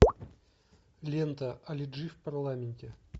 лента али джи в парламенте